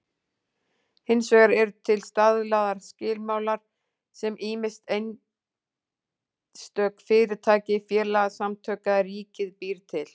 Hins vegar eru til staðlaðir skilmálar sem ýmist einstök fyrirtæki, félagasamtök eða ríkið býr til.